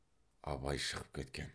абай шығып кеткен